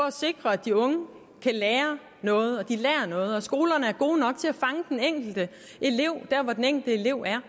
at sikre at de unge kan lære noget og at de lærer noget og at skolerne er gode nok til at fange den enkelte elev hvor den enkelte elev er